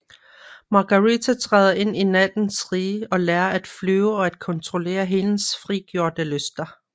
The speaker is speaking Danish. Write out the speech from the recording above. Margarita træder ind i nattens rige og lærer at flyve og at kontrollere hendes frigjorte lyster